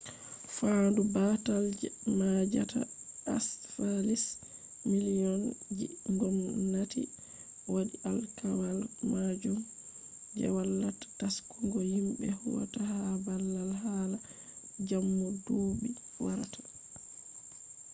faandu baatal je maajata encephalitis miliyon ji ngomnati waɗi alkawal majum je wallata taskungo yimbe huwata ha baabal hala jammu duuɓi warata